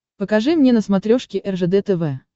покажи мне на смотрешке ржд тв